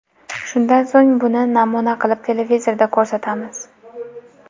Shundan so‘ng, buni namuna qilib televizorda ko‘rsatamiz.